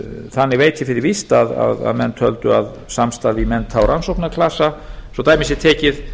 þannig veit ég fyrir víst að menn töldu að samstarf í mennta og rannsóknarklasa svo dæmi sé tekið